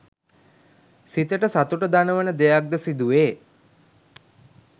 සිතට සතුට දනවන දෙයක් ද සිදුවේ